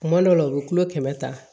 Kuma dɔw la u bɛ kulo kɛmɛ ta